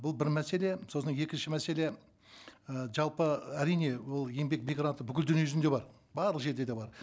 бұл бір мәселе сосын екінші мәселе і жалпы әрине ол еңбек мигранты бүкіл дүниежүзінде бар барлық жерде де бар